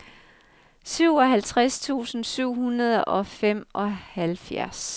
syvoghalvtreds tusind syv hundrede og femoghalvfjerds